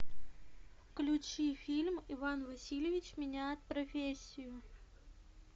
включи фильм иван васильевич меняет профессию